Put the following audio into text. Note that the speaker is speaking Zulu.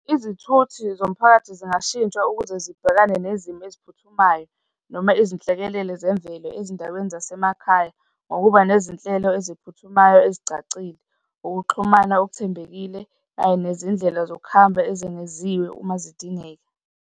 Izithuthi zomphakathi zingashintshwa ukuze zibhekane nezimo eziphuthumayo noma izinhlekelele zemvelo ezindaweni zasemakhaya ngokuba nezinhlelo eziphuthumayo ezicacile, ukuxhumana okuthembekile kanye nezindlela zokuhamba ezengeziwe uma zidingeka.